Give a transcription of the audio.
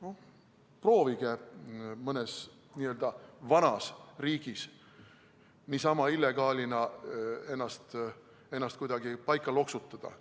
Eks proovige mõnes vanas riigis ennast illegaalina kuidagi paika loksutada.